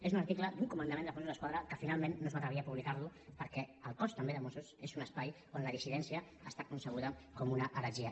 és un article d’un comandament dels mossos d’esquadra que finalment no es va atrevir a publicarlo perquè el cos també de mossos és un espai on la dissidència està concebuda com una heretgia